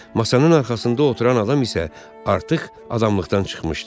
Masanın arxasında oturan adam isə artıq adamlıqdan çıxmışdı.